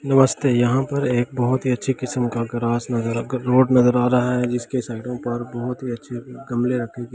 नमस्ते यहाँ पर एक बहुत ही अच्छी किसम का गराज नज़र रॉड आ रहा है जिसके सतह पर बहुत ही अच्छे गमले रखे जायेंगे --